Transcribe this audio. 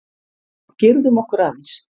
Girðum okkur aðeins!